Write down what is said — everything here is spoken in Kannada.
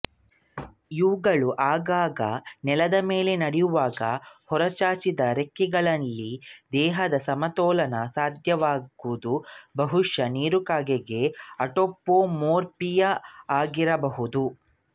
ಇವುಗಳು ಆಗಾಗ ನೆಲದ ಮೇಲೆ ನಡೆಯುವಾಗ ಹೊರಚಾಚಿದ ರೆಕ್ಕೆಗಳಿಂದ ದೇಹದ ಸಮತೋಲನ ಸಾಧಿಸುವುದು ಬಹುಶಃ ನೀರುಕಾಗೆಗಳ ಅಟಾಪೊಮೊರ್ಪಿಯಾಗಿರಬಹುದು